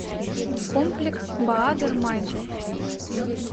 комплекс баадер майнхоф